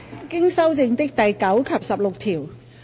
經修正的第9及16條。